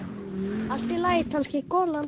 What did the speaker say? Allt í lagi, kannski golan.